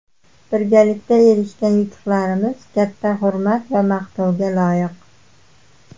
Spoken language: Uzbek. Birgalikda erishgan yutuqlarimiz katta hurmat va maqtovga loyiq.